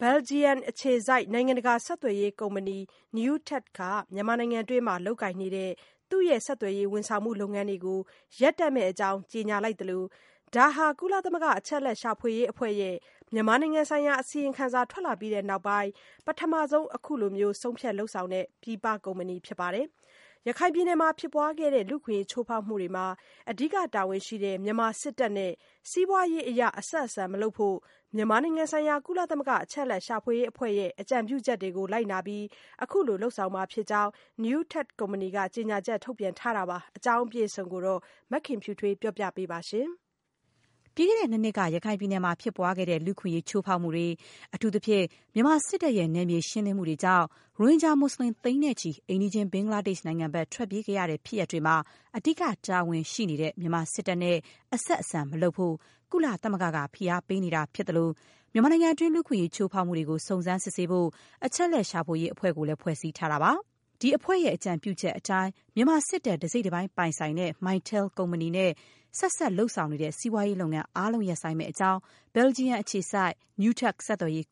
ဘယ်လ်ဂျီယံအခြေစိုက် နိုင်ငံတကာ ဆက်သွယ်ရေးကုမ္ပဏီ Newtec က မြန်မာနိုင်ငံအတွင်း လုပ်ကိုင်နေတဲ့ သူ့ရဲ့ ဆက်သွယ်ရေး ဝန်ဆောင်မှု လုပ်ငန်းတွေကို ရပ်တန့်မယ့်အကြောင်း ကြေညာလိုက်သလို၊ ဒါဟာ ကုလသမဂ္ဂ အချက်အလက်ရှာဖွေရေးအဖွဲ့ရဲ့ မြန်မာနိုင်ငံဆိုင်ရာ အစီရင်ခံစာ ထွက်လာပြီးနောက်ပိုင်း ပထမဆုံး ခုလို ဆုံးဖြတ်လုပ်ဆောင်တဲ့ ပြည်ပကုမ္ပဏီပဲဖြစ်ပါတယ်။ ရခိုင်ပြည်နယ်မှာဖြစ်ပွားခဲ့တဲ့ လူ့အခွင့်အရေးချိုးဖောက်မှုတွေမှာ အဓိကတာဝန်ရှိတဲ့ မြန်မာစစ်တပ်နဲ့ စီးပွားရေးအရ အဆက်အဆံမလုပ်ဖို့ မြန်မာနိုင်ငံဆိုင်ရာ ကုလသမဂ္ဂ အချက်အလက်ရှာဖွေရေးအဖွဲ့ရဲ့ အကြံပြုချက်တွေကို လိုက်နာပြီး ခုလိုလုပ်ဆောင်မှာဖြစ်ကြောင်း Newtec ကုမ္ပဏီက ကြေညာချက်ထုတ်ပြန်ထားပါတယ်။ ဒီအကြောင်း အပြည့်စုံကို မခင်ဖြူထွေးက ပြောပြပေးပါမယ်။ ပြီးခဲ့တဲ့ ၂ နှစ်က ရခိုင်ပြည်နယ်တွင်း ဖြစ်ပွားခဲ့တဲ့ လူ့အခွင့်အရေး ချိုးဖောက်မှုတွေ၊ အထူးသဖြင့် မြန်မာစစ်တပ်ရဲ့ နယ်မြေရှင်းလင်းမှုတွေ ကြောင့် ရိုဟင်ဂျာ မွတ်စလင်သိန်းနဲ့ချီ အိမ်နီးချင်း ဘင်္ဂလားဒေ့ရှ်နိုင်ငံဘက် ထွက်ပြေးခဲ့ရတဲ့ဖြစ်ရပ်တွေမှာ အဓိက တာဝန်ရှိတဲ့ မြန်မာစစ်တပ်နဲ့ အဆက်အဆံမလုပ်ဖို့ ကုလသမဂ္ဂက ဖိအားပေးနေတာဖြစ်သလို၊ မြန်မာနိုင်ငံတွင်း လူ့အခွင့်အရေးချိုးဖောက်မှုတွေကို စုံစမ်းစစ်ဆေးဖို့ အချက်အလက်ရှာဖွေရေးအဖွဲ့ကိုလည်း ဖွဲ့စည်းထားတာပါ။ ဒီအဖွဲ့ရဲ့ အကြံပြုချက်အတိုင်း မြန်မာစစ်တပ် တစိတ်တပိုင်း ပိုင်ဆိုင်တဲ့ Mytel ကုမ္ပဏီနဲ့ ဆက်ဆံလုပ်ဆောင်နေတဲ့ စီးပွားရေးလုပ်ငန်းအားလုံး ရပ်ဆိုင်းမယ့်အကြောင်း ဘယ်လ်ဂျီယံ အခြေစိုက် Newtec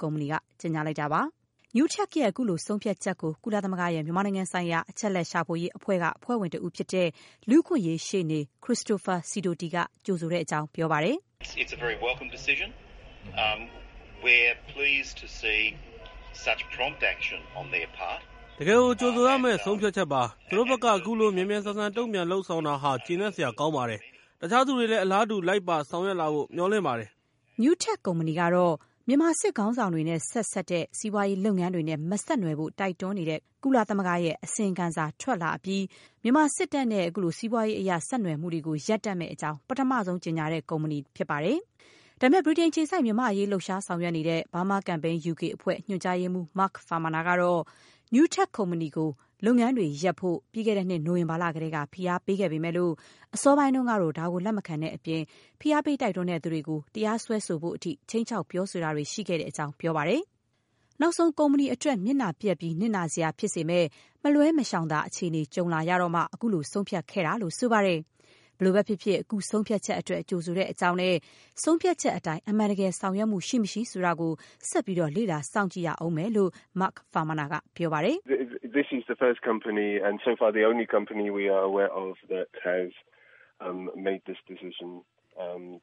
ကုမ္ပဏီက ကြေညာလိုက်တာပါ။ Newtec ရဲ့ အခုလိုဆုံးဖြတ်ချက်ကို ကုလသမဂ္ဂရဲ့ မြန်မာနိုင်ငံဆိုင်ရာ အချက်အလက် ရှာဖွေရေးအဖွဲ့က အဖွဲ့ဝင် တဦးဖြစ်တဲ့ လူ့အခွင့်အရေးရှေ့နေ Christopher Sidoti က ကြိုဆိုတဲ့အကြောင်း ပြောပါတယ်။ “တကယ့်ကို ကြိုဆိုရမယ့် ဆုံးဖြတ်ချက်ပါ။ သူတို့ဘက်က ခုလို မြန်မြန်ဆန်ဆန် တုံ့ပြန် လုပ်ဆောင်တာဟာ ကျေနပ်စရာကောင်းပါတယ်။ တခြားသူတွေလည်း အလားတူ လိုက်ပါ ဆောင်ရွက်လာဖို့ မျှော်လင့်ပါတယ်။” Newtec ကုမ္ပဏီကတော့ မြန်မာစစ်ခေါင်းဆောင်တွေနဲ့ ဆက်စပ်နေတဲ့ စီးပွားရေးလုပ်ငန်းတွေနဲ့ မဆက်နွယ်ဖို့ တိုက်တွန်းတဲ့ ကုလသမဂ္ဂ အချက်အလက် ရှာဖွေရေးအဖွဲ့ရဲ့ အစီရင်ခံစာထွက်လာအပြီး မြန်မာစစ်တပ်နဲ့ စီးပွားရေးအရ ဆက်နွယ်မှုတွေ ရပ်တန့်မယ့်အကြောင်း ပထမဆုံး ကြေညာတဲ့ ကုမ္ပဏီလည်း ဖြစ်ပါတယ်။ ဒါပေမဲ့ ဗြိတိန်အခြေစိုက် မြန်မာ့အရေး လှုပ်ရှားဆောင်ရွက်နေတဲ့ Burma Campaign UK ညွန်ကြားရေးမှူး Mark Farmaner ကတော့ Newtec ကုမ္ပဏီကို လုပ်ငန်းတွေရပ်ဖို့ ပြီးခဲ့တဲ့နှစ် နိုဝင်ဘာလကတည်းက ဖိအားပေးခဲ့ပေမဲ့ အစောပိုင်းမှာ ဒါကို လက်မခံတဲ့အပြင် ဖိအားပေး တိုက်တွန်းခဲ့တဲ့သူတွေကို တရားစွဲဆိုဖို့အထိ ခြိမ်းခြောက်တာတွေ ရှိခဲ့တဲ့အကြောင်း ပြောပါတယ်။ နောက်ဆုံး ကုမ္ပဏီအတွက် မျက်နှာပျက်ပြီးနစ်နာစရာဖြစ်စေမယ့် မလွှဲမရှောင်သာ အခြေအနေတွေ ကြုံလာမှ အခုလို ဆုံးဖြတ်ခဲ့တယ်လို့ ဆိုပါတယ်။ ဘယ်လိုပဲဖြစ်ဖြစ် အခုဆုံးဖြတ်ချက်အတွက် ကြိုဆိုကြောင်းနဲ့ ဆုံးဖြတ်ချက်အတိုင်း အမှန်တကယ် ဆောင်ရွက်မှုရှိ မရှိဆိုတာကို ဆက်ပြီး လေ့လာ စောင့်ကြည့်ရဦးမယ်လို့ Mark Farmaner က ပြောပါတယ်။ “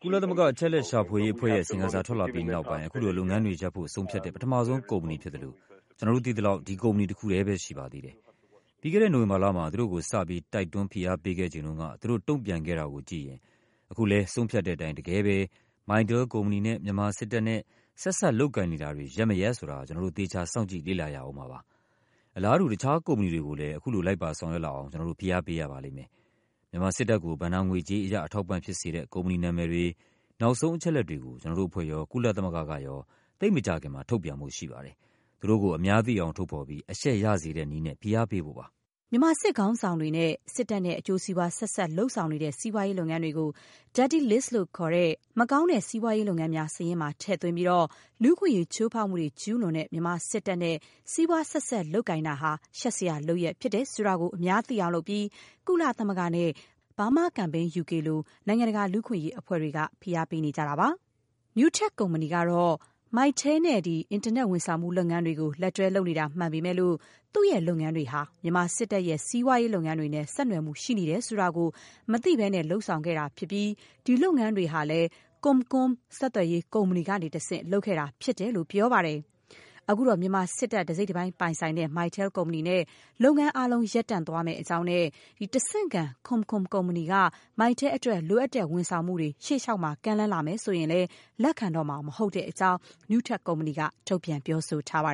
ကုလသမဂ္ဂ အချက်အလက်ရှာဖွေရေးအဖွဲ့ရဲ့ အစီရင်ခံစာထွက်လာပြီးနောက်ပိုင်း ခုလိုလုပ်ငန်းတွေ ရပ်ဖို့ ဆုံးဖြတ်တဲ့ ပထမဆုံးကုမ္ပဏီဖြစ်သလို၊ ကျနော်တို့သိသလောက် ဒီကုမ္ပဏီတခုတည်းပဲ ရှိပါသေးတယ်။ ပြီးခဲ့တဲ့နိုဝင်ဘာလ…သူတို့ကို စပြီး တိုက်တွန်း ဖိအားပေးခဲ့ချိန်တုန်းက သူတို့တုံ့ပြန်ခဲ့တာကိုကြည့်ရင်… အခုလဲ ဆုံးဖြတ်တဲ့အတိုင်း တကယ်ပဲ mytel ကုမ္ပဏီနဲ့ မြန်မာစစ်တပ်နဲ့ ဆက်စပ်လုပ်ကိုင်နေတာတွေ ရပ်မရပ် ဆိုတာကို ကျနော်တို့ သေချာ စောင့်ကြည့် လေ့လာရဦးမှာပါ။ အလားတူ တခြား ကုမ္ပဏီတွေကို လည်း အခုလိုလိုက်ပါ ဆောင်ရွက်လာအောင် ကျနော်တို့ ဖိအားပေးရပါလိမ့်မယ်။ မြန်မာစစ်တပ်ကို ဘဏ္ဍာငွေကြေးအရ အထောက်အပံ့ ဖြစ်စေတဲ့ ကုမ္ပဏီနာမည်တွေ၊ နောက်ဆုံးအချက်အလက်တွေကို ကျနော်တို့အဖွဲ့ရော၊ ကုလသမဂ္ဂကရော သိပ်မကြာခင်မှာ ထုတ်ပြန်ဖို့ ရှိပါတယ်။ သူတို့ကို အများသိအောင် ထုတ်ဖော်ပြီး အရှက်ရစေတဲ့နည်းနဲ့ ဖိအားပေးဖို့ပါ။” မြန်မာစစ်ခေါင်းဆောင်တွေနဲ့ စစ်တပ်နဲ့ အကျိုးစီးပွား ဆက်စပ်လုပ်ကိုင်နေတဲ့ စီးပွားရေး လုပ်ငန်းတွေကို “dirty list” လို့ ခေါ်တဲ့ မကောင်းတဲ့ စီးပွားရေးလုပ်ငန်း စာရင်းမှာထည့်သွင်းပြီး လူ့အခွင့်အရေးချိုးဖောက်မှုတွေ ကျူးလွန်နေတဲ့ မြန်မာစစ်တပ်နဲ့ စီးပွားဆက်စပ် လုပ်ကိုင်တာဟာ ရှက်စရာလုပ်ရပ် ဖြစ်တယ်ဆိုတာကို အများသိအောင်လုပ်ပြီး ကုလသမဂ္ဂနဲ့ Burma Campaign UK လို လူ့အခွင့်အရေး အဖွဲ့တွေက ဖိအားပေးနေတာ ဖြစ်ပါတယ်။ Newtec ကုမ္ပဏီကတော့ Mytel ကုမ္ပဏီနဲ့ အင်တာနက်ဝန်ဆောင်မှုလုပ်ငန်းတွေ လက်တွဲ လုပ်နေတာမှန်ပေမဲ့၊ သူ့ရဲ့လုပ်ငန်းတွေဟာ မြန်မာစစ်တပ်ရဲ့ စီးပွားရေးလုပ်ငန်းတွေနဲ့ ဆက်နွယ်မှုရှိနေတယ်ဆိုတာ မသိဘဲလုပ်ဆောင်ခဲ့တာဖြစ်ပြီး ဒီလုပ်ငန်းတွေဟာလည်း ComCom ဆက်သွယ်ရေးကုမ္ပဏီကနေတဆင့် လုပ်ဆောင်ခဲ့တာဖြစ်တယ်လို့ ပြောပါတယ်။ အခုတော့ မြန်မာစစ်တပ် တစိတ်တပိုင်း ပိုင်ဆိုင်တဲ့ Mytel ကုမ္ပဏီနဲ့ လုပ်ငန်းအားလုံး ရပ်တန့်မယ့်အကြောင်းနဲ့ တဆင့်ခံ ComCom ကုမ္ပဏီက Mytel အတွက် လိုအပ်တဲ့ ဝန်ဆောင်မှုတွေ ရှေ့လျှောက် ကမ်းလှမ်းလာရင်လည်း လက်ခံတော့မှာမဟုတ်ကြောင်း Newtec ကုမ္ပဏီက ထုတ်ပြန် ပြောဆိုထားပါ